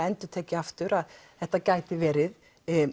endurtek ég aftur þetta gæti verið